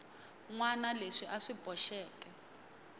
wana leswi a swi boxeke